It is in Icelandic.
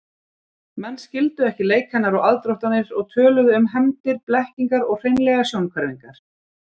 Menn skildu ekki leik hennar og aðdróttanir og töluðu um hefndir, blekkingar og hreinlega sjónhverfingar.